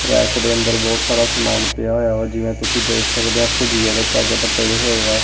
Rack ਦੇ ਅੰਦਰ ਬਹੁਤ ਸਾਰਾ ਸਮਾਨ ਪਿਆ ਹੋਇਆ ਏ ਆ ਜਿਵੇਂ ਤੁਸੀਂ ਦੇਖ ਸਕਦੇ ਆ ਭੁਜੀਏ ਦੇ ਪੈਕਟ ਪਏ ਹੋਏ ਆ।